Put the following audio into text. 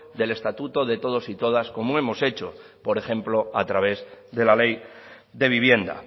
del estatuto de todos y todas como hemos hecho por ejemplo a través de la ley de vivienda